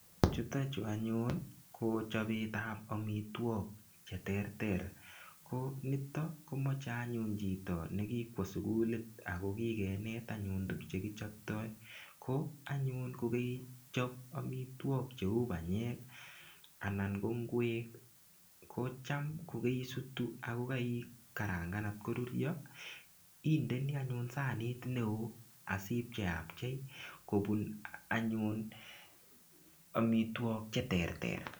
Chuto chu anyun ko chobetab amitwok cheterter. Konito koche anyun chito ne kikwo sugulit ago kigenet anyun tukchekichoptoi. Ko anyun ko kaichop tuk cheu banyek anan ko ingwek ko cham ko kaisutu ago kaikarangan kot ko rurio, indeni anyun sanit neo asipcheapchei kobun anyun amitwok cheterter.